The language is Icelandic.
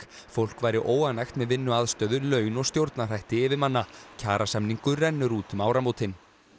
fólk væri óánægt með vinnuaðstöðu laun og stjórnarhætti yfirmanna kjarasamningur rennur út um áramótin